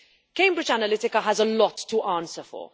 Cambridge Analytica has a lot to answer for.